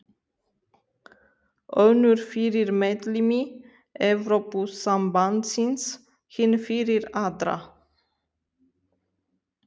Önnur fyrir meðlimi Evrópusambandsins, hin fyrir aðra.